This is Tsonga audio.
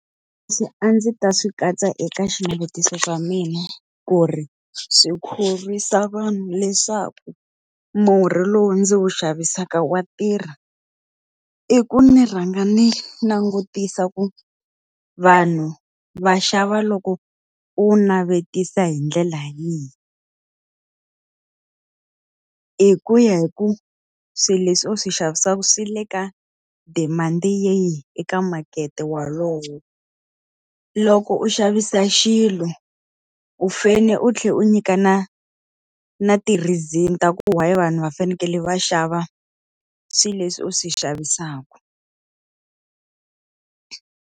a ndzi ta swi katsa eka xinavetiso swa mina ku ri swi khorwisa vanhu leswaku murhi lowu ndzi wu xavisaka wa tirha, i ku ni rhanga ni langutisa ku vanhu va xava loko u wu navetisa hi ndlela yihi hi ku ya hi ku swilo leswi u swi xavisaka swi le ka demand-i yihi eka makete wolowo. Loko u xavisa xilo u fanele u tlhela u nyika na na ti-reason ta ku why vanhu va fanekele va xava swilo leswi u swi xavisaka.